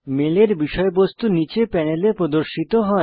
মেলের বিষয়বস্তু নীচে প্যানেলে প্রদর্শিত হয়